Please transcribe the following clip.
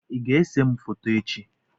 I ga-ese m foto echi?